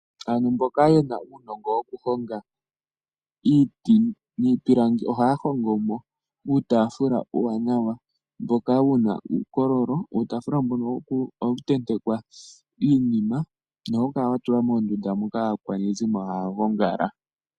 Aantu mboka yena uunongo wokuhonga iiti niipilangi, ohaya hongomo uutaafula uuwanawa, mboka wuna uukololo. Uutaafula mbono ohawu tentekwa iinima nohawu kala watulwa mondunda moka aakwanezimo haya gongala.